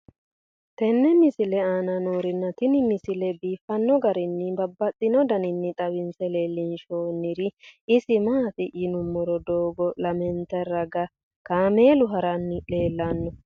tenne misile aana noorina tini misile biiffanno garinni babaxxinno daniinni xawisse leelishanori isi maati yinummoro doogo lamentte ragaa kaammelu haranni leelanno